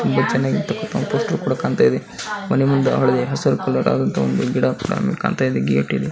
ತುಂಬ ಚೆನ್ನಾಗಿ ಹಸಿರು ಕಲರ್ ಆದಂದಾಹ ಗಿಡ ಕಾಣ್ತಾಯಿದೆ ಗೇಟ್--